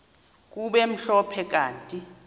kube mhlophe kanti